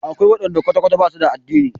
Akwai waɗanda kwata-kwata ba su da addini.